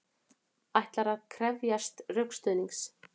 Ætlar að krefjast rökstuðnings